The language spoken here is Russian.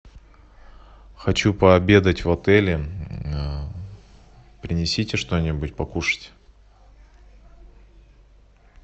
хочу пообедать в отеле принесите что нибудь покушать